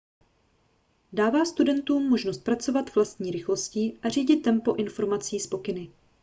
dává studentům možnost pracovat vlastní rychlostí a řídit tempo informací s pokyny